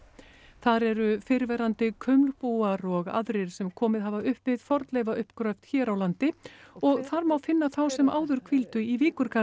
þar eru fyrrverandi kumlbúar og aðrir sem komið hafa upp við fornleifauppgröft hér á landi og þar má finna þá sem áður hvíldu í